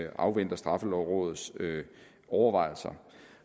at afvente straffelovrådets overvejelser